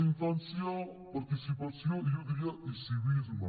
infància participació i jo diria civisme